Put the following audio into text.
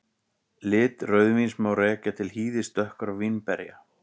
Lit rauðvíns má rekja til hýðis dökkra vínberja.